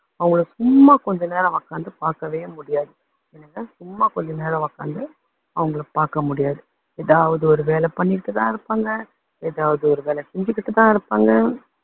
அவங்களை சும்மா கொஞ்ச நேரம் உக்காந்து பாக்கவே முடியாது, சும்மா கொஞ்ச நேரம் உக்காந்து அவங்களை பாக்க முடியாது. எதாவது ஒரு வேலை பண்ணிக்கிட்டு தான் இருப்பாங்க. எதாவது ஒரு வேலை செஞ்சுக்கிட்டு தான் இருப்பாங்க